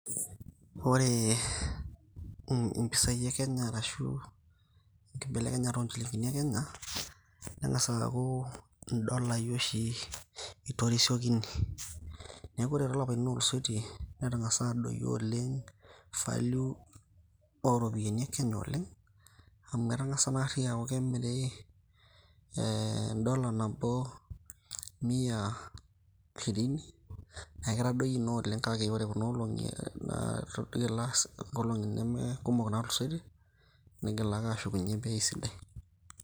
Ore mpisai ekenya arashu embelekenyata onchilingini ekenya, nengasa aku ndolai oshi itoshanishoreki ,neaku ore tolapaitin otuluseyie netangasa adoyio oleng value oropiyiani ekenye oleng amu etangasa oshi aku kemiri ee endola nabo mia shirini neaku ketadoutuo oleng kuna olongi aa nkolongi namakumok natulusoitie neigil ake ashukunye bei sidai.